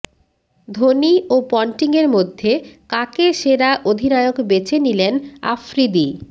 ধোনি ও পন্টিংয়ের মধ্যে কাকে সেরা অধিনায়ক বেছে নিলেন আফ্রিদি